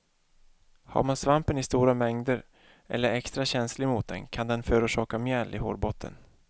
Har man svampen i stora mängder eller är extra känslig mot den, kan den förorsaka mjäll i hårbotten.